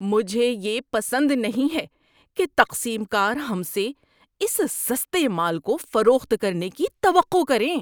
مجھے یہ پسند نہیں ہے کہ تقسیم کار ہم سے اس سستے مال کو فروخت کرنے کی توقع کریں۔